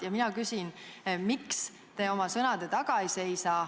Ja mina küsin, miks te oma sõnade taga ei seisa.